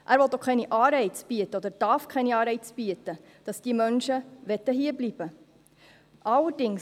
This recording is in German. Er will auch keine Anreize bieten, oder darf keine Anreize bieten, dass diese Menschen hierbleiben möchten.